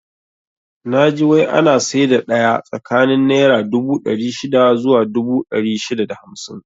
Naji wai ana saida daya tsakanin naira dubu ɗari shida zuwa dubu ɗari shida da hamsin